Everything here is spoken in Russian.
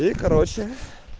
и короче